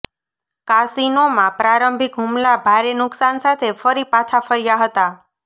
કાસિનોમાં પ્રારંભિક હુમલા ભારે નુકસાન સાથે ફરી પાછા ફર્યા હતા